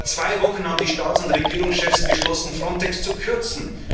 endlich ehrlich zu sein. Vor zwei Wochen haben die Staats und Regierungschefs beschlossen,